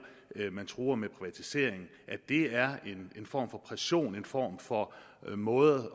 man truer med privatisering er en form for pression en form for måde at